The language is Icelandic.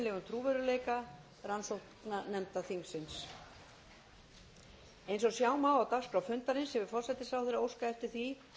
trúverðugleika rannsóknarnefnda þingsins eins og sjá má á dagskrá fundarins hefur forsætisráðherra óskað eftir því